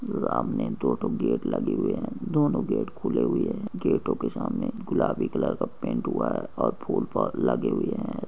सामने दो दो गेट लगे हुए है दोनों गेट खुले हुए हैं गेट के सामने गुलाबी कलर का पेंट हुआ है और फूल लगे हुए है।